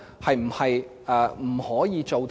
是否不可以做到呢？